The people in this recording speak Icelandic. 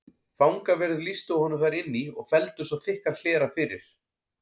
Fangaverðir lýstu honum þar inn í og felldu svo þykkan hlera fyrir.